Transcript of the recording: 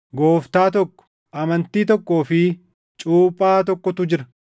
Gooftaa tokko, amantii tokkoo fi cuuphaa tokkotu jira;